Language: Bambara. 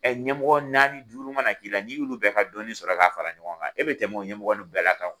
Ɛ ɲɛmɔgɔ naani duru mana k'i la, n'i y' olu bɛɛ ka dɔni sɔrɔ k'a fara ɲɔgɔn kan , e bɛ tɛmɛ ɲɛmɔgɔw bɛɛ lajɛlen kan.